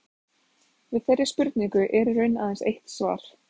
Við þeirri spurningu er í raun aðeins eitt svar.